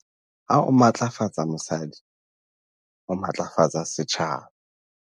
Ha o matlafatsa mosadi, o matlafatsa setjhaba.